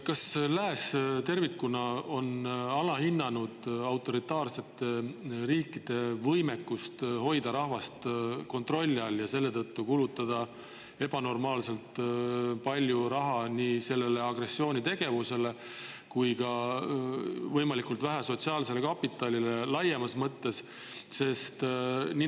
Kas lääs tervikuna on alahinnanud autoritaarsete riikide võimekust hoida rahvast kontrolli all ja selle tõttu kulutada ebanormaalselt palju raha agressioonitegevusele, aga võimalikult vähe sotsiaalsele kapitalile laiemas mõttes?